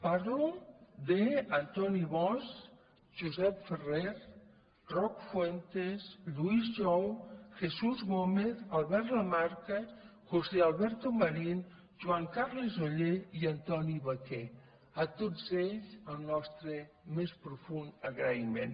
parlo d’antoni bosch josep ferrer roc fuentes lluís jou jesús gómez albert lamarca josé alberto marín joan carles oller i antoni vaquer a tots ells el nostre més profund agraïment